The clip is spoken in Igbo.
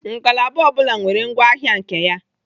Ngalaba ọ bụla nwere ngwa ahịa nke ya.